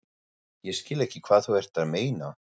Ég skil ekki hvað þú ert að meina.